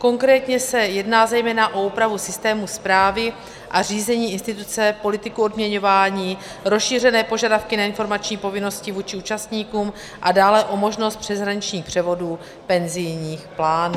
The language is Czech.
Konkrétně se jedná zejména o úpravu systému správy a řízení instituce, politiku odměňování, rozšířené požadavky na informační povinnosti vůči účastníkům a dále o možnost přeshraničních převodů penzijních plánů.